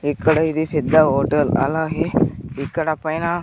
ఇక్కడ ఇది పెద్ద హోటల్ అలాగే ఇక్కడ పైన--